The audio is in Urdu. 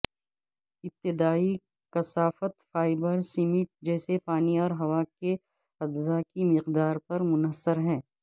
ابتدائی کثافت فائبر سیمنٹ جیسے پانی اور ہوا کے اجزاء کی مقدار پر منحصر ہے